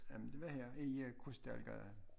Jamen det var her i Krystalgade